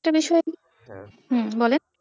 একটা বিষয় আমি, হ্যাঁ বলেন।